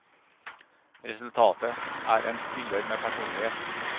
Resultatet er en spiller med personlighet.